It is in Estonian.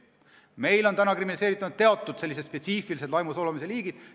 Meil on kriminaliseeritud spetsiifilised laimu ja solvamise liigid.